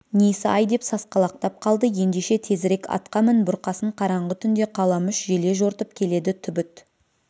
несі-ай деп сасқалақтап қалды ендеше тезірек атқа мін бұрқасын қараңғы түнде қаламүш желе жортып келеді түбіт